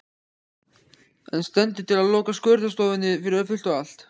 En stendur til að loka skurðstofunni fyrir fullt og allt?